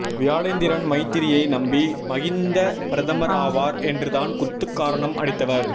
வியாழேந்திரன் மைத்திரியை நம்பி மகிந்த பிரதமர் ஆவார் என்றுதான் குத்துகாரணம் அடித்தவர்